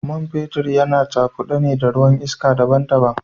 Man fetur yana cakude ne na ruwan iska daban-daban.